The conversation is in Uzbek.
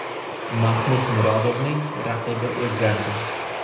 Mahmud Murodovning raqibi o‘zgardi.